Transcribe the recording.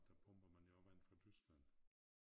Der pumper man jo også vand fra Tyskland